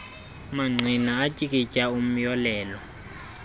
mangqina atyikitya umyolelo